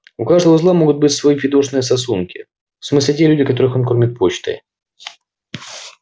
у каждого узла могут быть свои фидошные сосунки в смысле те люди которых он кормит почтой